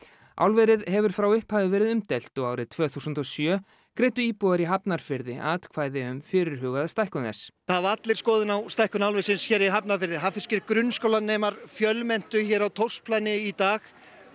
álverið hefur frá upphafi verið umdeilt og árið tvö þúsund og sjö greiddu íbúar í Hafnarfirði atkvæði um fyrirhugaða stækkun þess það hafa allir skoðun á stækkun álversins hér í Hafnarfirði hafnfirskir grunnskólanemar fjölmenntu hér á Thors planið í dag